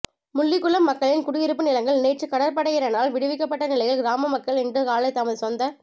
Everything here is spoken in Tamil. முள்ளிக்குளம் மக்களின் குடியிருப்பு நிலங்கள் நேற்று கடற்படையினரினால் விடுவிக்கப்பட்ட நிலையில் கிராம மக்கள் இன்று காலை தமது சொந்த